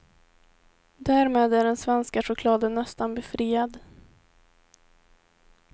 Därmed är den svenska chokladen nästan befriad.